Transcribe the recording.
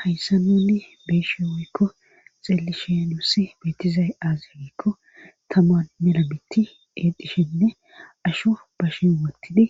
Hayssa nunni beeshe woykko xillishenussi beetizay aazerikko taman melabitti eexishenne asho ba shin wotidi